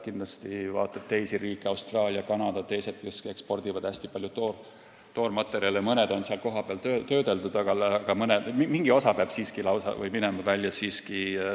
Kui vaadata teisi riike, Austraalia, Kanada ja teised, kes ekspordivad hästi palju toormaterjale, siis mõned on kohapeal töödeldud, aga mingi osa peab siiski minema välja.